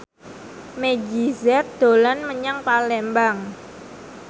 Meggie Z dolan menyang Palembang